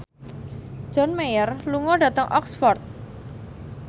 John Mayer lunga dhateng Oxford